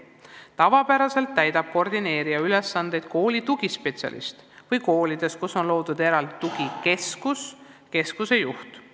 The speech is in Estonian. Tavapäraselt täidab koordinaatori ülesandeid kooli tugispetsialist või koolides, kus on loodud eraldi tugikeskus, selle juht.